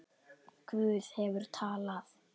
Guð hefur talað.